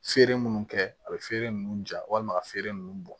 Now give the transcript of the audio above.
Feere munnu kɛ a bɛ feere nunnu ja walima ka feere nunnu bɔn